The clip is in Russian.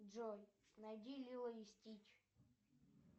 джой найди лило и стич